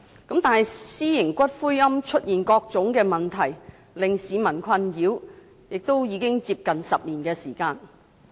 但是，私營龕場產生各種令市民困擾的問題，亦已有接近10年時間。